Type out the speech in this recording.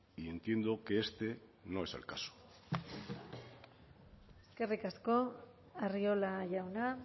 y entiendo que este no es el caso eskerrik asko arriola jauna